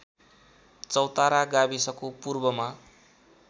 चौतारा गाविसको पूर्वमा